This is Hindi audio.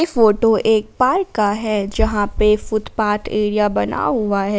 फोटो एक पार्क का है जहां पर फुटपाथ एरिया बना हुआ है।